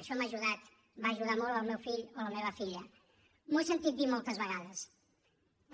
això m’ha ajudat va ajudar molt el meu fill o la meva filla ho he sentit dir moltes vegades